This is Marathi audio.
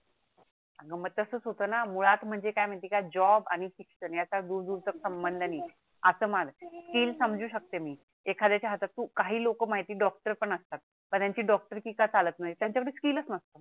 अग मग तसच होतो णा मुळात म्हणजे काय महिती आहे का जॉब आणि शिक्षण याच्या दूर दूरचा संबंध नाही अस म्हण स्किल समजू शकते मी एखदयच्या हातात तु काही लोक माहीत आहे डॉक्टर पण असतात पण त्यांची डॉक्टरकी का चालत नाही त्यांच्या कडे स्किलच नसत